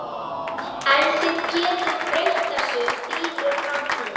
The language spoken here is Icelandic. En þið getið breytt þessu, þín er framtíðin